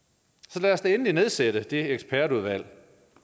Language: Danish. så lad os da endelig nedsætte det ekspertudvalg